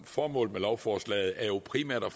formålet med lovforslaget jo primært er